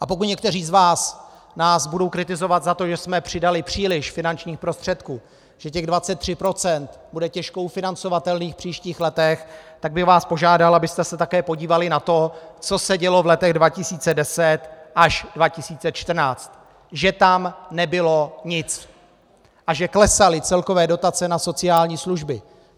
A pokud někteří z vás nás budou kritizovat za to, že jsme přidali příliš finančních prostředků, že těch 23 % bude těžko ufinancovatelných v příštích letech, tak bych vás požádal, abyste se také podívali na to, co se dělo v letech 2010 až 2014, že tam nebylo nic a že klesaly celkové dotace na sociální služby.